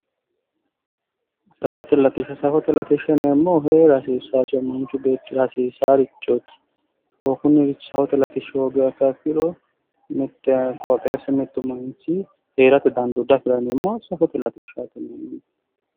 safate latishsha safote latishsha yineemmohu heera hasiisaasihu manchi beettira hsiisaarichooti kunirichi safote latishshi hoogiro mittu qooxeessi woyi mittu manchi heerate dandoo diafiranno konne safote latishsha yineemmo.